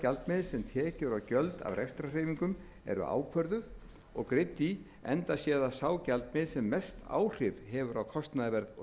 sem tekjur og gjöld af rekstrarhreyfingum eru ákvörðuð og greidd í enda sé það sá gjaldmiðill sem mest áhrif hefur á kostnaðarverð og